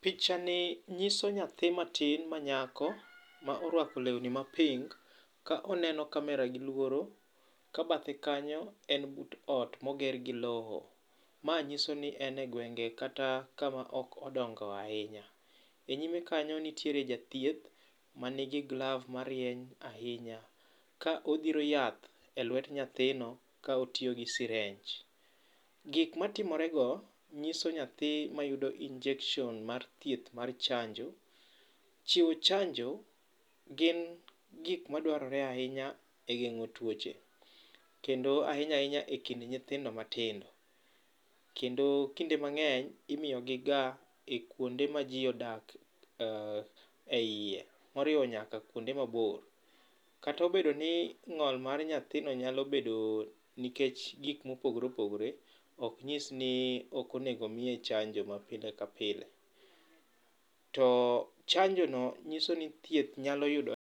Pichani nyiso nyathi matin manyako, ma oruako lewni ma pink ka oneno camera giluoro ka bathe kanyo en but ot moger gi lowo. Ma nyiso ni en egwenge kata kama ok odongo ahinya. Enyime kanyo nitiere jathieth man gi gloves marieny ahinya ka odhiro yath e luet nyathino ka otiyo gi sirenj. Gik matimorego nyiso nyathi ,mayudo injection mar thieth mar chanjo. Chiwo chanjo gin gik madwarore ahinya e geng'o tuoche kendo ahinya ahinya ekind nyithindo matindo kendo kinde mang'eny imiyogi ga e kuonde maji odak eiye moriwo nyaka kuonde mabor. Kata obedo ni ng'ol mar nyathino nyalo bedo nikech gik mopogore opogore ok nyis ni ok onego miye chanjo ma pile ka pile to chanjono nyiso ni thieth nyalo yudo